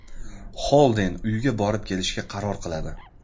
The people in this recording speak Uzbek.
Xolden uyga borib kelishga qaror qiladi.